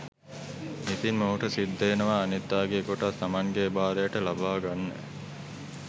ඉතින් මොහුට සිද්ධ වෙනවා අනිත් අයගේ කොටස් තමන්ගේ බාරයට ලබා ගන්න.